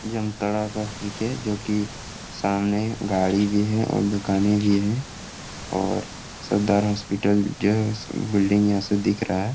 जामताड़ा का ठीक है जो कि सामने गाड़ी भी है और दुकानें भी है और सरदार हॉस्पिटल जो बिल्डिंग यहां से दिख रहा है।